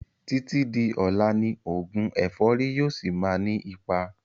Títí di ọlá ni oògùn ẹ̀fọ́rì yìí ó síí má ni ipa